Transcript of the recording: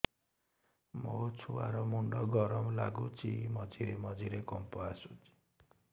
ମୋ ଛୁଆ ର ମୁଣ୍ଡ ଗରମ ଲାଗୁଚି ମଝିରେ ମଝିରେ କମ୍ପ ଆସୁଛି